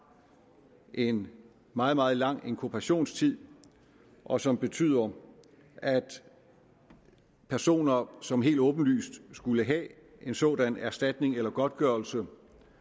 en meget meget lang inkubationstid og som betyder at personer som helt åbenlyst skulle have en sådan erstatning eller godtgørelse får